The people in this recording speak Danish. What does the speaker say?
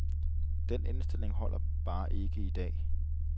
Den indstilling holder bare ikke i dag.